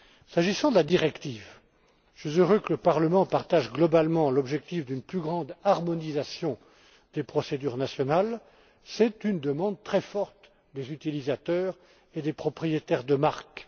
S'agissant de la directive, je suis heureux que le Parlement partage globalement l'objectif d'une plus grande harmonisation des procédures nationales, telle que la réclament vivement les utilisateurs et les propriétaires de marques.